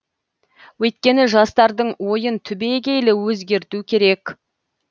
өйткені жастардың ойын түбегейлі өзгерту керек